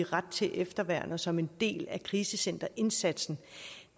ret til efterværn som en del af krisecenterindsatsen